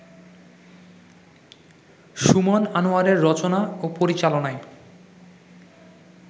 সুমন আনোয়ারের রচনা ও পরিচালনায়